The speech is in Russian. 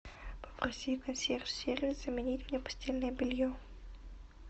попроси консьерж сервис заменить мне постельное белье